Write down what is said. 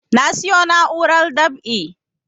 Na siyo na'urar dab'i